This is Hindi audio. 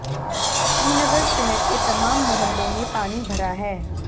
श्रीनगर शहर के तमाम मोहल्लों में पानी भरा है